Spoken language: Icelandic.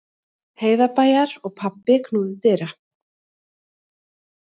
Heiðarbæjar og pabbi knúði dyra.